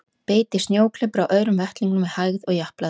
Beit í snjóklepra á öðrum vettlingnum með hægð og japlaði á honum.